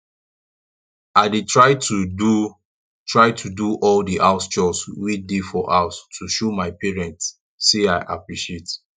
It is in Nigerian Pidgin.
i dey try to do try to do all the house chores wey dey for house to show my parents say i appreciate